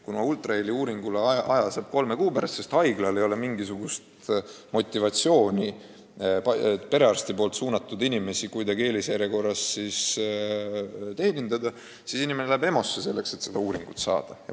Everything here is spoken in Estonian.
Kuna ultraheliuuringuks saab aja kolme kuu pärast, sest haiglal ei ole mingisugust motivatsiooni perearsti suunatud inimesi eelisjärjekorras teenindada, siis inimene läheb EMO-sse, selleks et see uuring saaks tehtud.